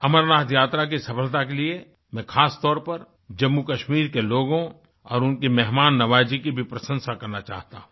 अमरनाथ यात्रा की सफलता के लिए मैं खासतौर पर जम्मूकश्मीर के लोगों और उनकी मेहमाननवाजी की भी प्रशंसा करना चाहता हूँ